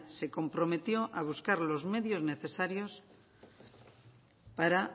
se comprometió a buscar los medios necesarios para